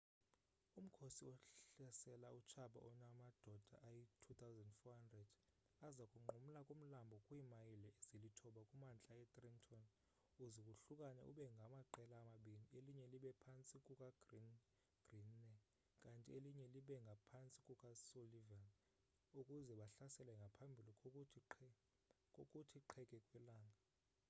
umkhosi ohlasela utshaba onamadoda ayi-2 400 aza kunqumla kumlambo kwiimayile ezilithoba kumantla etrenton uze wohlukane ube ngamaqela amabini elinye libe phantsi kukagreene kanti elinye libe ngaphantsi kukasullivan ukuze bahlasele ngaphambi kokuthi qheke kwelanga